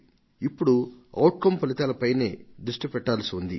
ఇప్పుడు ఔట్కమ్ ఫలితాల పైనే దష్టి సారించాల్సి వుంది